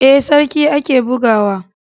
Ee, sarki ake buga wa.